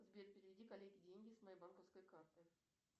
сбер переведи коллеге деньги с моей банковской карты